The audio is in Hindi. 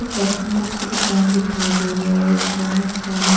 कॉस्मेटिक की दुकान दिखाई दे रहा है बहुत सारे--